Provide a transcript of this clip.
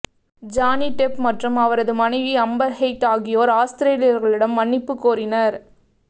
Johnny Depp மற்றும் அவரது மனைவி அம்பர் ஹெய்ட் ஆகியோர் ஆஸ்திரேலியர்களிடம் மன்னிப்பு கோரினர்